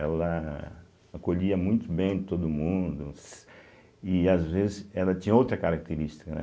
Ela acolhia muito bem todo mundo e, às vezes, ela tinha outra característica, né.